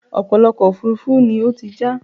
ọ̀pọ̀lọpọ̀ ọkọ̀ òfurufú ni ó ti já